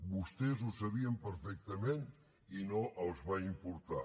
vostès ho sabien perfectament i no els va importar